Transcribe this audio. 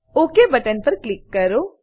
okay button પર click કરો